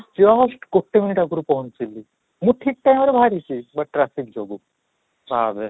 just ଗୋଟେ minute ଆଗରୁ ପହଞ୍ଚିଲି, ମୁଁ ଠିକ time ରେ ବାହାରିଛି ବୁଟ traffic ଯୋଗୁଁ ଭାବେ